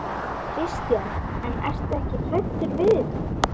Kristján: En ertu ekkert hræddur við þetta?